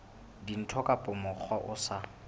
dintho ka mokgwa o sa